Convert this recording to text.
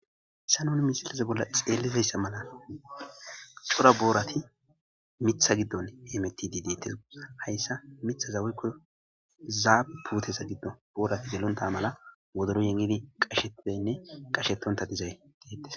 Hissa nuni misilaze bolla xeellizayssa mala cora boorati mitha giddon emetidi deettes hayssa mitha zaweykko zaa putesa giddo boorati gelonta mala wodoro yeenidi qashetanne qashettonta dizay deetes.